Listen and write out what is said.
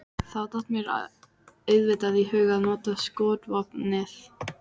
Þá datt mér auðvitað í hug að nota skotvopnið.